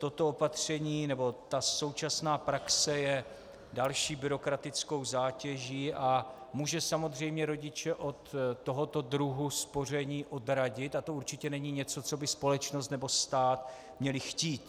Toto opatření, nebo ta současná praxe je další byrokratickou zátěží a může samozřejmě rodiče od tohoto druhu spoření odradit a to určitě není něco, co by společnost nebo stát měly chtít.